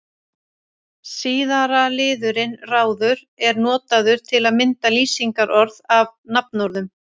Síðara liðurinn-ráður er notaður til að mynda lýsingarorð af nafnorðum.